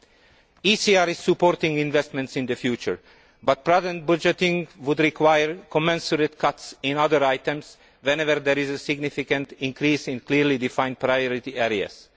The ECR supports investment in the future, but prudent budgeting would require commensurate cuts in other items whenever there is a significant increase in clearly defined priority areas.